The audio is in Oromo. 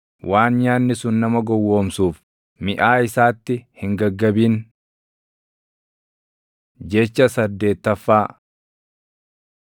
Waan nyaanni sun nama gowwoomsuuf, miʼaa isaatti hin gaggabin. Jecha saddeettaffaa